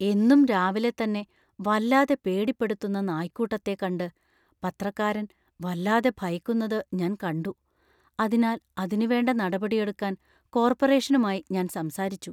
എന്നും രാവിലെ തന്നെ വല്ലാതെ പേടിപ്പെടുത്തുന്ന നായ്ക്കൂട്ടത്തെ കണ്ട് പത്രക്കാരൻ വല്ലാതെ ഭയക്കുന്നത് ഞാൻ കണ്ടു. അതിനാൽ അതിനുവേണ്ട നടപടിയെടുക്കാൻ കോർപ്പറേഷനുമായി ഞാൻ സംസാരിച്ചു.